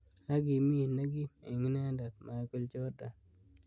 Ak kimi kora nekim eng inendet Michael Jordan.